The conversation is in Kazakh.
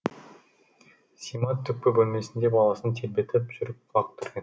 сима түпкі бөлмеде баласын тербетіп жүріп құлақ түрген